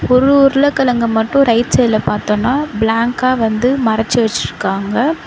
ஒரு உருளக்கிழங்க மட்டு ரைட் சைடுல பாத்தோம்னா பிளாங்கா வந்து மறச்சு வச்சுருக்காங்க.